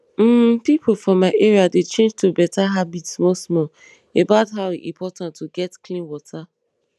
hmm pipo for my area dey change to better habit small small about how e important to get clean water